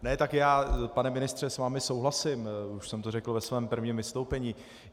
Ne, tak já, pane ministře, s vámi souhlasím, už jsem to řekl ve svém prvním vystoupení.